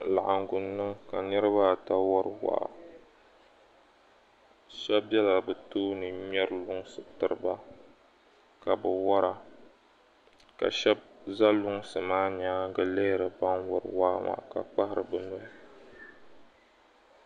Laɣingu niŋ ka niriba ata wari waa shɛba bɛla bɛ tooni ŋmɛri lunsi tiriba ka bɛ wara ka shɛba za lunsi maa nyaaŋa lihiri ban wari waa maa ka gbahiri bɛ nuhi.